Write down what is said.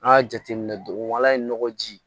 An y'a jateminɛ dugu la ye nɔgɔ ji